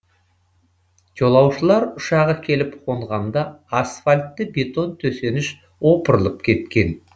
жолаушылар ұшағы келіп қонғанда асфальтты бетон төсеніш опырылып кеткен